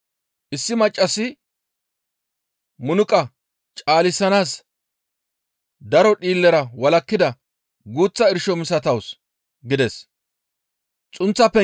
Issi maccassi munuqa caalisanaas daro dhiillera walakkida guuththa irsho misatawus» gides.